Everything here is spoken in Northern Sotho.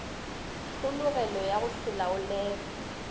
tlhologelo ya go se laolege